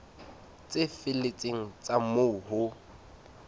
tse felletseng tsa moo ho